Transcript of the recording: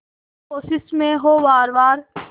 हर कोशिश में हो वार वार